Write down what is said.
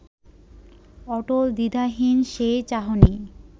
অটল, দ্বিধাহীন সেই চাহনি